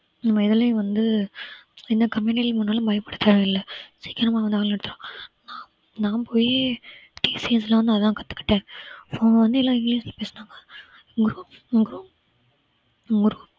நம்ம எதுலயும் வந்து எந்த company யில் போனாலும் பயப்படத் தேவையில்ல சீக்கிரமா வந்து நான் போயி TCS ல வந்து அதான் கத்துக்கிட்டேன் so அவங்க வந்து எல்லாம் இங்கிலிஷ்ல பேசினாங்க group group ஒரு